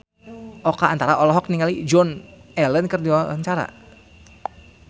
Oka Antara olohok ningali Joan Allen keur diwawancara